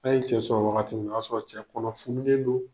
N'a ye cɛ sɔrɔ wagati min na, o y'a sɔrɔ cɛ kɔnɔ fununen don